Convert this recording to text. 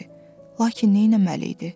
Lakin neynəməli idi?